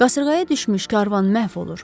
Qasırğaya düşmüş karvan məhv olur.